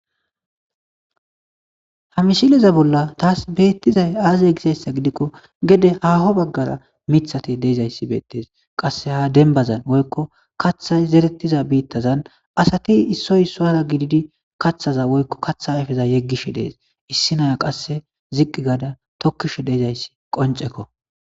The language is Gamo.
Ha mishileza bolla taas beettizay aazie gisayssa gidikko gede haho baggara mithati deezayssi beettes qasse ha denbazan woykko kaththay zerettiza biittazan asati issoy soara gididi kaththaza woykko katha ayfeza yeggishe dees issi naya qasse ziqqi gaada tokkisho deizayssi qoncekko.